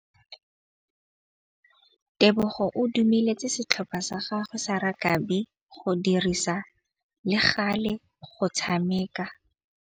Tebogô o dumeletse setlhopha sa gagwe sa rakabi go dirisa le galê go tshameka.